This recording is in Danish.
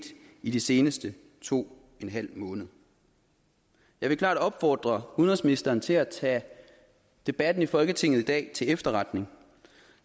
i de seneste to en halv måned jeg vil klart opfordre udenrigsministeren til at tage debatten i folketinget i dag til efterretning